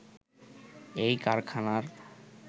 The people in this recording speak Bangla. এই কারখানার